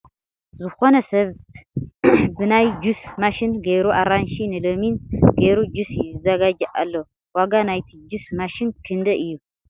ዝኮነ ሰብ ብ ናይ ጁስ ማሽን ገይሩ ኣራንሺ ን ሎሚን ገይሩ ጁስ ይዘጋጂ ኣሎ ። ዋጋ ናይቲ ጁስ ማሺን ክንደይ እዩ ?